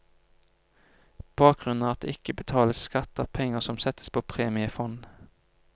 Bakgrunnen er at det ikke betales skatt av penger som settes på premiefond.